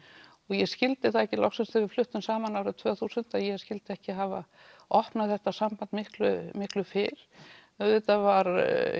og ég skyldi það ekki loksins þegar við fluttum saman árið tvö þúsund að ég skyldi ekki hafa opnað þetta samband miklu miklu fyrr auðvitað var